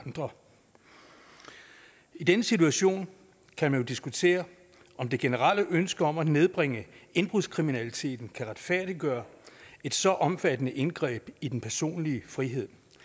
andre i denne situation kan man diskutere om det generelle ønske om at nedbringe indbrudskriminaliteten kan retfærdiggøre et så omfattende indgreb i den personlige frihed